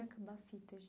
Vai acabar a fita